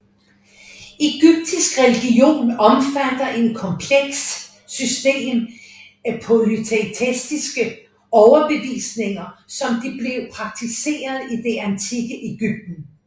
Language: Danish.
Egyptisk religion omfatter en komplekst system af polyteistiskes overbevisninger som de blev praktiseret i det antikke Egypten